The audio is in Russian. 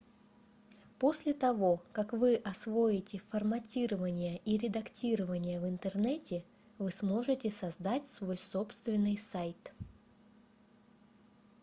после того как вы освоите форматирование и редактирование в интернете вы сможете создать свой собственный сайт